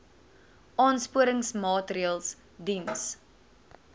aansporingsmaatre ls diens